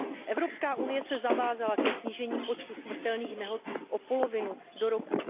Evropská unie se zavázala ke snížení počtu smrtelných nehod o polovinu do roku